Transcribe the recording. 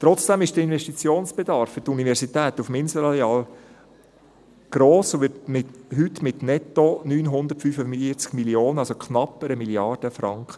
Trotzdem ist der Investitionsbedarf für die Universität auf dem Inselareal gross und wird heute auf netto 945 Mio. Franken geschätzt, also knapp 1 Mrd. Franken.